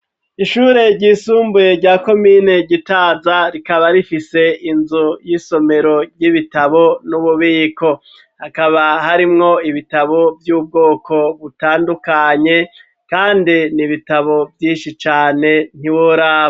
Ishure ryisumbuye rya komine gitaza ,rikaba rifise inzu y'isomero, ry'ibitabo n'ububiko, hakaba harimwo ibitabo vy'ubwoko butandukanye, kandi nibitabo vy'inshi cane, ntiworaba.